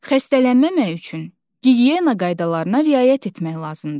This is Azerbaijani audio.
Xəstələnməmək üçün gigiyena qaydalarına riayət etmək lazımdır.